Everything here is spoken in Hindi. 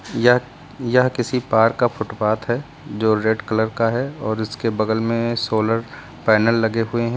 यह यह किसी पार्क का फुटपाथ है जो रेड कलर का है और उसके बगल में सोलर पैनल लगे हुए हैं।